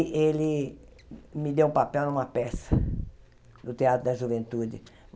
E ele me deu um papel numa peça do Teatro da Juventude.